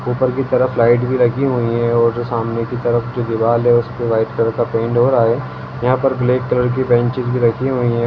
ऊपर की तरफ लाइट भी लगी हुई है और सामने की तरफ जो दिवाल है उसपे व्हाइट कलर का पेंट हो रहा है यहा पर ब्लैक कलर का बेंचेज रखी हुई है।